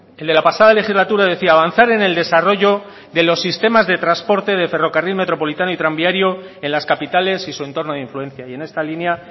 el de la pasada legislatura decía avanzar en el desarrollo de los sistemas de transporte de ferrocarril metropolitano y tranviario en las capitales y su entorno de influencia y en esta línea